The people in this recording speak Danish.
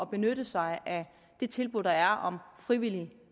benytte sig af det tilbud der er om frivillig